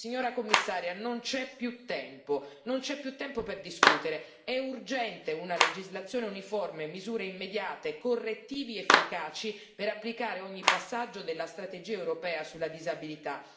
Signora Commissaria, non c'è più tempo per discutere è urgente una legislazione uniforme, misure immediate, correttivi efficaci per applicare ogni passaggio della strategia europea sulla disabilità.